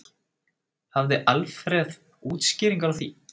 Hafði Alfreð útskýringar á því?